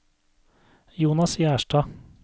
Jonas Gjerstad